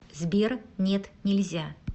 сбер нет нельзя